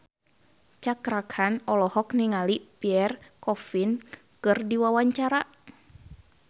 Cakra Khan olohok ningali Pierre Coffin keur diwawancara